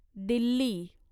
Delhi